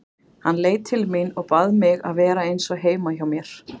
Hann leit til mín og bað mig að vera eins og heima hjá mér.